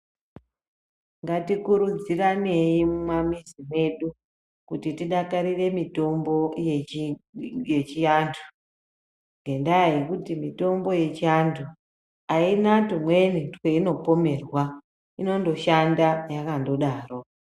Ngatikurudziranei mumamizi mwedu, kuti tidakarire mitombo yechi yechiantu, ngendaa yekuti mitombo yechiantu, aina twumweni tweinopomerwa, inondoshanda yakandodaro.